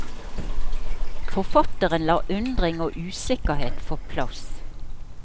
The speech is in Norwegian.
Forfatteren lar undring og usikkerhet få plass.